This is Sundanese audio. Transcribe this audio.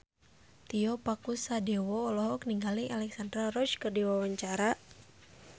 Tio Pakusadewo olohok ningali Alexandra Roach keur diwawancara